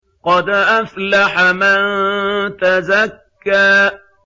قَدْ أَفْلَحَ مَن تَزَكَّىٰ